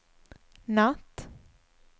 natt